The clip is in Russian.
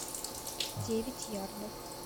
девять ярдов